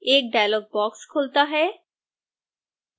एक dialog box खुलता है